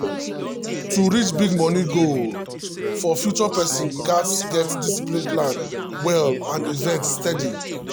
to reach big money goal for future person gats get discipline plan well and invest steady.